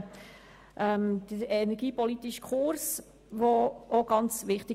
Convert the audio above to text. Auch der energiepolitische Kurs ist uns sehr wichtig.